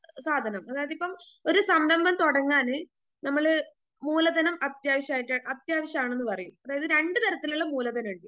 സാധനം അതായതിപ്പം ഒരു സംരംഭം തൊടങ്ങാന് നമ്മള് മൂലധനം അത്യാവശ്യായിട്ട് അത്യാവശ്യാണെന്ന് പറയും അതായത് രണ്ടു തരത്തിലുള്ള മൂലധനം ഇണ്ട്.